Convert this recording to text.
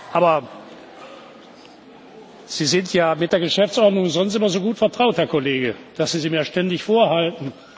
Aber Sie sind ja mit der Geschäftsordnung sonst immer so gut vertraut, Herr Kollege, dass Sie sie mir ständig vorhalten.